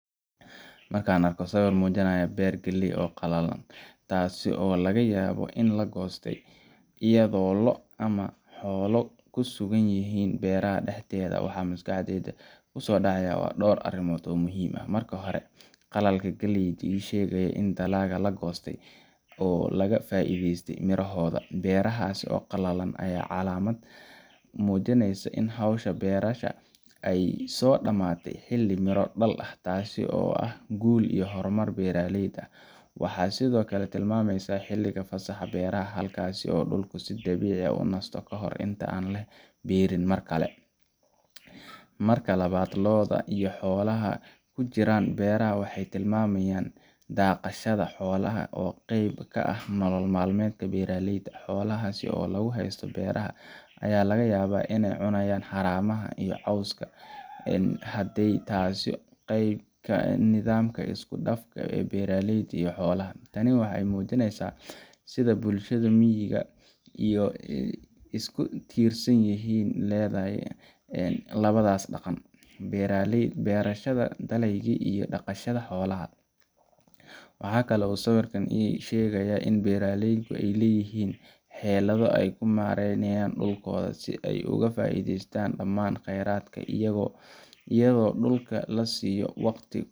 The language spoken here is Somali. Markan arko sawir muujinayo beer faley oo qalalan taasi oo laga yabo in lagoostay iyado loo ama xoolo kusugan yihiin beeraha dhaxdeeda waxaa maskaxdeyda kusoo dhacaya door arimood oo muhiim ah, marka hore, qalalka galeyda ii shegayo ini dhalaga lagoostay oo laga faa'iideyste mirahooda, beerahas oo qalalan aya calaamad mujineysa in howsha beerashada ay soo dhamaatay xili miro dhal ah taasi oo ah gul iyo horumar beeraleyda waxay sidokale tilmameysa xiliga fasaxa beeraha halkaas oo si dabiici ah u nasto inta an la beerin Mar kale, marka labad loo'da iyo xoolaha kujiran beeraha waxay tilmaamayan dhaaqashada xoolaha oo qeyb ka ah nolol malmeedka beeraleyda, xooahasi oo lugu haystoo beeraha aya laga yabaa inay xaramaha iyo cowska en hadii taasi qeyb ka eh nidamka isku dhafka ee beeraleyda iyo xoolaha, tani waxay muujineysa sida bulshada miyiga iyo isku tirsan yihiin Melan labadaas dhaqan, beerashada dhaleygii iyo dhaqashada xoolaha, waxakale oo sawirkan ii sheegaya inay beeraleydu ay leyihiin xeelado ay ku mareynayan dhulkooda si ay oga faa'iideystan dhamaan qeyradka iyago dhuka lasiyo waqti